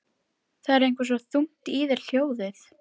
Það er eitthvað svo þungt í þér hljóðið.